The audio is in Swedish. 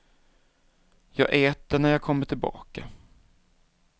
Jag äter när jag kommer tillbaka.